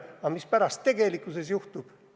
Aga mis pärast tegelikkuses juhtub?